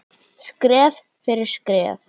Skref fyrir skref.